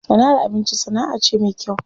Sana'ar abinci sana'a ce me kyau.